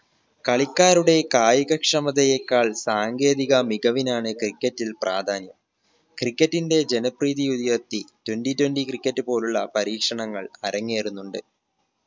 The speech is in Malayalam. കളിക്കാരുടെ കായിക ക്ഷമതയേക്കാൾ സാങ്കേതിക മികവിനാണ് cricket ൽ പ്രാധാന്യം cricket ന്റെ ജനപ്രീതി വിധിയുയർത്തി twenty twenty cricket പോലുള്ള പരീക്ഷണങ്ങൾ അരങ്ങേറുന്നുണ്ട്